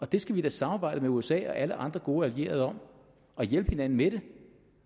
det skal vi da samarbejde med usa og alle andre gode allierede om at hjælpe hinanden med